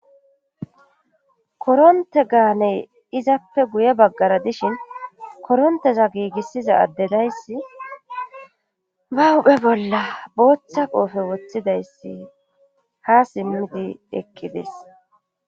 koronte gaaney izappe guye baggara dishin koronteza giigissiza addedayssi ba huphe bolla booththa qoofe woththidayssi ha simmidi ekkides